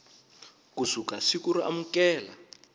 ku suka siku ro amukela